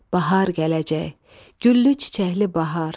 Bahar gələcək, güllü-çiçəkli bahar.